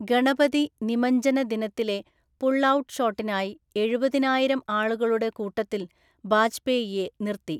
ഗണപതി നിമജ്ജന ദിനത്തിലെ പുൾഔട്ട് ഷോട്ടിനായി, എഴുപതിനായിരം ആളുകളുടെ കൂട്ടത്തിൽ ബാജ്‌പേയിയെ നിര്‍ത്തി.